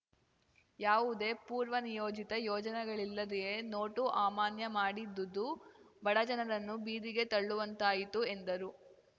ಯಾವುದೇ ಪೂರ್ವನಿಯೋಜಿತ ಯೋಜನೆಗಳಿಲ್ಲದೆಯೇ ನೋಟು ಅಮಾನ್ಯ ಮಾಡಿದ್ದುದು ಬಡ ಜನರನ್ನು ಬೀದಿಗೆ ತಳ್ಳುವಂತಾಯಿತು ಎಂದರು